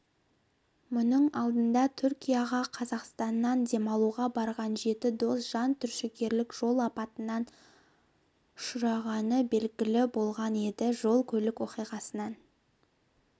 мұның алдындатүркияға қазақстаннан демалуға барған жеті дос жантүршігерлік жол апатына ұшырағаны белгілі болған еді жол-көлік оқиғасынан